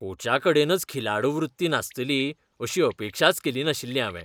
कोचाकडेनच खिलाडू वृत्ती नासतली अशी अपेक्षाच केली नाशिल्ली हावें.